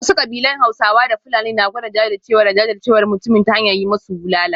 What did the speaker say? Wasu kabilun Hausawa da Fulani na gwada jajircewa da jajircewar mutumin ta hanyar yi musu bulala